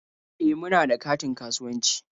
E, muna da katin kasuwanci.